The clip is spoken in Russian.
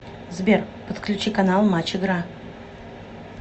сбер подключи канал матч игра